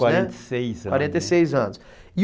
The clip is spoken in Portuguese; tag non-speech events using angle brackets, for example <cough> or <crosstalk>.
<unintelligible> quarenta e seis anos <unintelligible> e